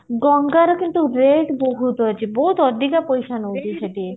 ଗଣଗରେ କିନ୍ତୁ rate ବହୁତ ଅଧିକ ଅଛି ବହୁତ ଅଧିକା ପଇସା ନଉଛି ସେଠି